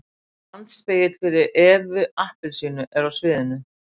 Standspegill fyrir EVU APPELSÍNU er á sviðinu.